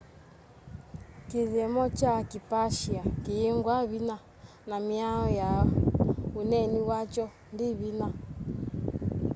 kithyomo kya kiipashia kiyingwa vinya na miao ya uneeni wakyo ndi vinya